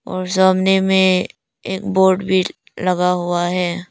और सामने में एक बोर्ड भी लगा हुआ है।